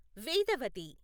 Vedavathi